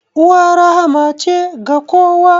Uwa rahma ce ga kowa.